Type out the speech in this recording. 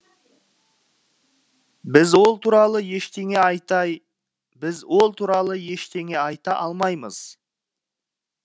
біз ол туралы ештеңе біз ол туралы ештеңе айта алмаймыз